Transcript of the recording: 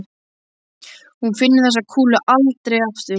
Hún finnur þessa kúlu aldrei aftur.